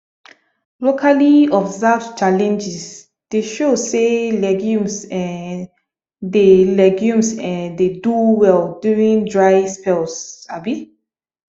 locally observed challenges dey show say legumes um dey legumes um dey do well during dry spells um